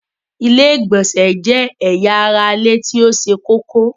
Ilẹ̀-ìgbọ̀nsẹ̀ jẹ́ èyà ara ilẹ̀ tí ó ṣé kòkó.